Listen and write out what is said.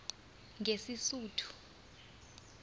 ngesisuthu